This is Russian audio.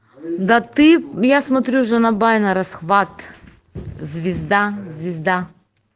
да ты я смотрю жанабай нарасхват звезда звезда